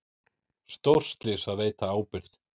Stórslys að veita ábyrgð